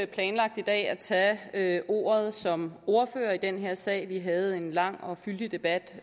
planlagt at at tage ordet som ordfører i den her sag vi havde en lang og fyldig debat